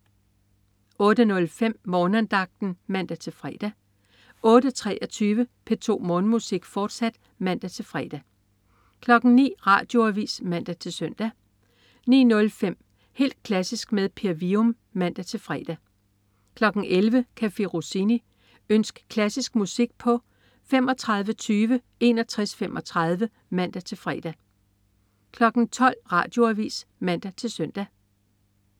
08.05 Morgenandagten (man-fre) 08.23 P2 Morgenmusik, fortsat (man-fre) 09.00 Radioavis (man-søn) 09.05 Helt klassisk med Per Wium (man-fre) 11.00 Café Rossini. Ønsk klassisk musik på tlf. 35 20 61 35 (man-fre) 12.00 Radioavis (man-søn)